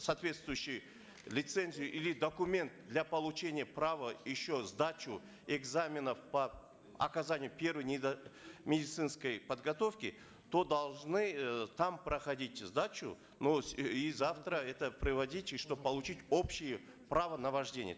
соответствующую лицензию или документ для получения права еще сдачу экзаменов по оказанию первой медицинской подготовки то должны э там проходить сдачу но и завтра это приводить чтобы получить общее право на вождение